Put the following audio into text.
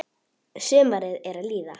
Sumarið er að líða.